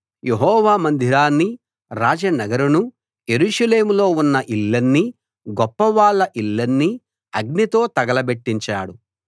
యెహోవా మందిరాన్నీ రాజనగరునూ యెరూషలేములో ఉన్న ఇళ్ళన్నీ గొప్పవాళ్ళ ఇళ్ళన్నీ అగ్నితో తగల బెట్టించాడు